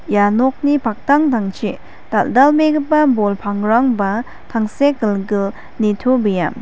ia nokni paktangtangchi dal·dalbegipa bol pangrangba tangsekgilgil nitobea.